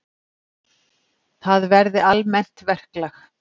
Það verði almennt verklag.